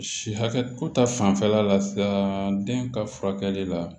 Si hakɛ ko ta fanfɛla la sisan den ka furakɛli la